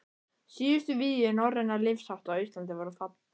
Síðustu vígi norrænna lífshátta á Íslandi voru fallin.